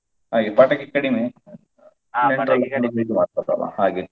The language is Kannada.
ಹಾಗೆ ಪಟಾಕಿ ಕಡಿಮೆ ನೆಂಟ್ರೆಲ್ಲ ಬಂದು ಇದು ಆಗ್ತದಲ್ಲ ಹಾಗೆ.